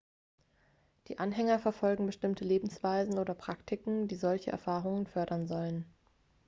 die anhänger verfolgen bestimmte lebensweisen oder praktiken die solche erfahrungen fördern sollen